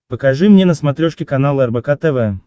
покажи мне на смотрешке канал рбк тв